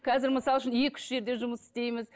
қазір мысал үшін екі үш жерде жұмыс істейміз